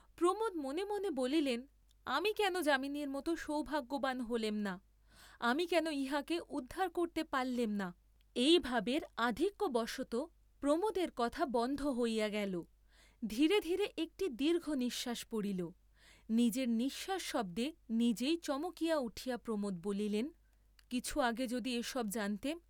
প্রমোদ মনে মনে বলিলেন আমি কেন যামিনীর মত সৌভাগ্যবান হলেম না, আমি কেন ইহাকে উদ্ধার করতে পাল্লেম না, এই ভাবের আধিক্য বশতঃ প্রমোদের কথা বন্ধ হইয়া গেল, ধীরে ধীরে একটি দীর্ঘ নিশ্বাস পড়িল, নিজের নিশ্বাস শব্দে নিজেই চমকিয়া উঠিয়া প্রমোদ বলিলেন কিছু আগে যদি এসব জানতেম!